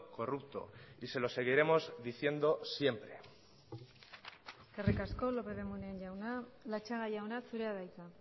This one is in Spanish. corrupto y se los seguiremos diciendo siempre eskerrik asko lópez de munain jauna latxaga jauna zurea da hitza